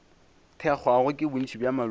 thekgwago ke bontši bja maloko